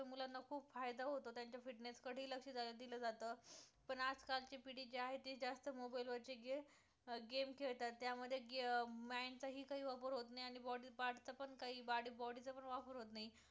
खूप फायदा होतो, त्यांच्या fitness कडे लक्ष दिलं जाते पण आज कालची पिढी जे आहे ती जास्त mobile वरती game game खेळतात त्या मध्ये mind चा हि काही वापर होत नाही आणि body part चा पण काही आणि body चा पण वापर होत नाही फक्त